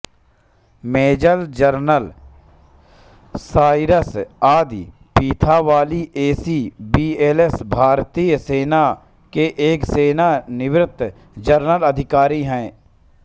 major general Cyrus Adi Pithawala AC VSM भारतीय सेना के एक सेवानिवृत्त जनरल अधिकारी हैं